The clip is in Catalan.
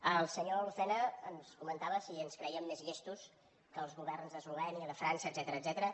el senyor lucena ens comentava si ens crèiem més llestos que els governs d’eslovènia de frança etcètera etcètera